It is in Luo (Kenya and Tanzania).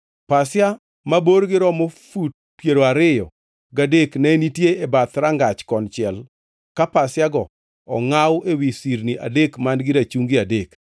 Pasia ma borgi romo fut piero ariyo gadek ne nitie e bath rangach konchiel ka pasiago ongʼaw ewi sirni adek man-gi rachungi adek,